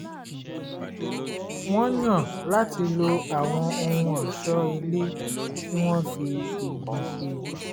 wọ́n yàn láti lo àwọn ohun ọ̀ṣọ́ ilé tí wọ́n fi igi ṣe